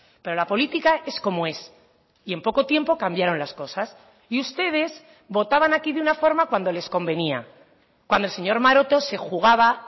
pero la política es como es y en poco tiempo cambiaron las cosas y ustedes votaban aquí de una forma cuando les convenía cuando el señor maroto se jugaba